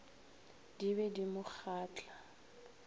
di be di mo kgahla